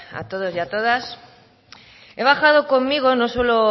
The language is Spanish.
a todos y a todas he bajado conmigo no suelo